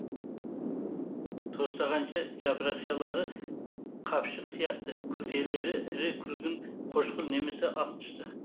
тостағанша жапырақшалары қапшық сияқты күлтелері ірі күлгін қошқыл немесе ақ түсті